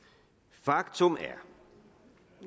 faktum er